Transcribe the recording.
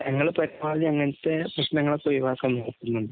ഞങ്ങള് പരമാവധി അങ്ങനത്തെ പ്രശ്നങ്ങള് ഒഴിവാക്കാന്‍ നോക്കുന്നുണ്ട്.